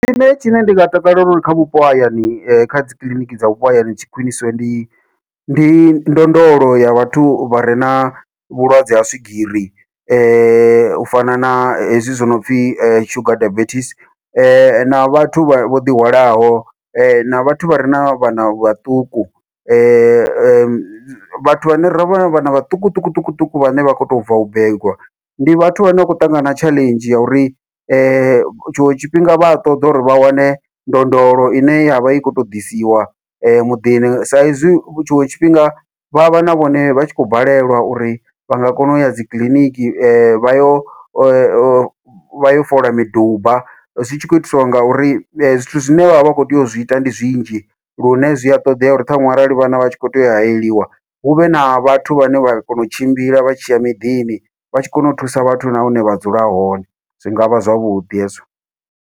Tshine tshine ndi nga takalela uri kha vhupo hayani kha dzikiḽiniki dza vhupo hayani tshi khwiṋisiwe, ndi ndi ndondolo ya vhathu vhare na vhulwadze ha swigiri u fana na hezwi zwi nopfhi sugar diabetes, na vhathu vho ḓihwalaho na vhathu vhare na vhana vhaṱuku vhathu vhane ra vhana vhaṱukuṱukuṱuku vhane vha kho to bva u begwa, ndi vhathu vhane vha khou ṱangana tshaḽenzhi ya uri tshiṅwe tshifhinga vha a ṱoḓa uri vha wane ndondolo ine yavha i khou to ḓisiwa muḓini. Sa izwi tshiṅwe tshifhinga vha vha na vhone vha tshi khou balelwa uri vha nga kona uya dzi kiḽiniki, vha yo yo vha yo fola miduba zwi tshi khou itiswa ngauri zwithu zwine vhavha vha khou tea u zwi ita ndi zwinzhi, lune zwi a ṱoḓea uri ṱhanwe arali vhana vha tshi khou tea u hayeliwa huvhe na vhathu vhane vha kona u tshimbila vha tshi ya miḓini vha tshi kona u thusa vhathu na hune vha dzula hone, zwi ngavha zwavhuḓi hezwo.